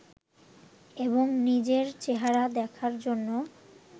এবং নিজের চেহারা দেখার জন্য